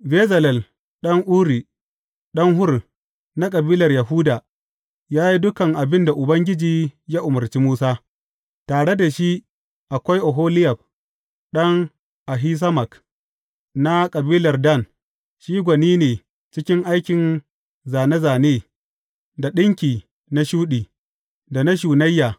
Bezalel ɗan Uri, ɗan Hur, na kabilar Yahuda, ya yi dukan abin da Ubangiji ya umarci Musa; tare da shi akwai Oholiyab ɗan Ahisamak, na kabilar Dan, shi gwani ne cikin aikin zāne zāne, da ɗinki na shuɗi, da na shunayya,